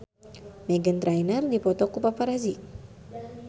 Meghan Trainor dipoto ku paparazi